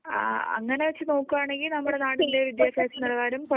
ആ അങ്ങനെ വെച്ച് നോക്കുകയാണെങ്കിൽ നമ്മുടെ നാട്ടിലെ വിദ്യാഭ്യാസ നിലവാരം കുറയുകയാണ്.